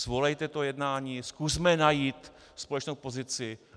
Svolejte to jednání, zkusme najít společnou pozici.